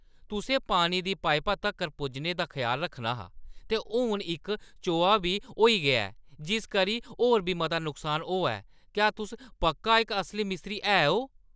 तुसें पानी दी पाइपा तक्कर पुज्जने दा ख्याल रक्खना हा, ते हून इक चोआऽ बी होई गेआ ऐ जिस कन्नै होर बी मता नुकसान होआ ऐ! क्या तुस पक्का इक असली मिस्त्री है ओ?